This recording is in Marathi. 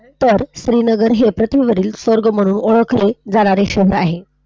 तर श्रीनगर हे पृथ्वी वरील स्वर्ग म्हणुन ओळखले जाणारे शहर आहे.